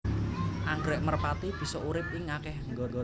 Anggrèk merpati bisa urip ing akéh nggon